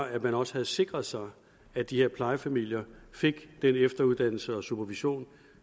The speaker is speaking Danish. at man også havde sikret sig at de her plejefamilier fik den efteruddannelse og supervision